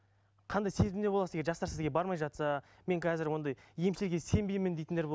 қандай сезімде боласыз егер жастар сізге бармай жатса мен қазір ондай емшіге сенбеймін дейтіндер